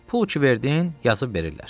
Pul ki verdin, yazıb verirlər.